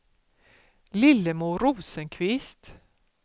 Lillemor Rosenqvist